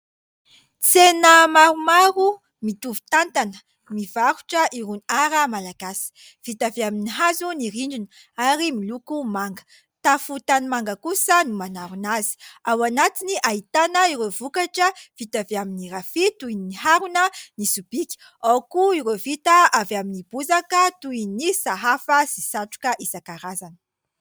Tsena maromaro mitovy tantana, mivarotra irony"art" malagasy. Vita avy amin'ny hazo ny rindrina ary miloko manga. Tafo tanimanga kosa ny manarona azy. Ao anatiny, ahitana ireo vokatra vita avy amin'ny rafia, toy : ny harona, ny sobika. Ao koa ireo vita avy amin'ny bozaka, toy ny : sahafa sy satroka isan-karazany.